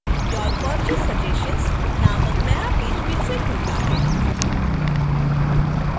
your purchase suggestions नामक नया page फिर से खुलता है